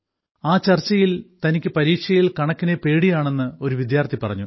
ആ ചർച്ചയിൽ തനിക്ക് പരീക്ഷയിൽ കണക്കിനെ പേടിയാണെന്ന് ഒരു വിദ്യാർത്ഥി പറഞ്ഞു